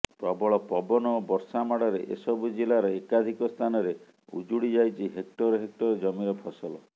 ପ୍ରବଳ ପବନ ଓ ବର୍ଷା ମାଡ଼ରେ ଏସବୁ ଜିଲ୍ଲାର ଏକାଧିକ ସ୍ଥାନରେ ଉଜୁଡ଼ିଯାଇଛି ହେକ୍ଟର ହେକ୍ଟର ଜମିର ଫସଲ